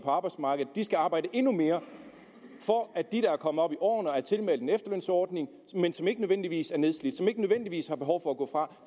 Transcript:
på arbejdsmarkedet skal arbejde endnu mere for at de der er kommet op i årene og er tilmeldt en efterlønsordning men som ikke nødvendigvis er nedslidte ikke nødvendigvis har behov for at gå fra